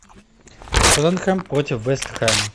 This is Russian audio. тоттенхэм против вест хэма